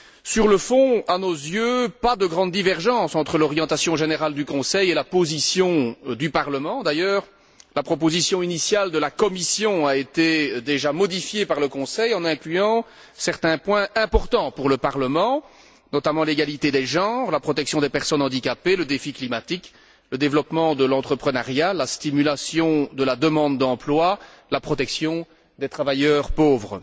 Sur le fond, à nos yeux, pas de grandes divergences entre l'orientation générale du Conseil et la position du Parlement. D'ailleurs, la proposition initiale de la Commission a déjà été modifiée par le Conseil en incluant certains points importants pour le Parlement, notamment l'égalité des genres, la protection des personnes handicapées, le défi climatique, le développement de l'entreprenariat, la stimulation de la demande d'emploi, la protection des travailleurs pauvres.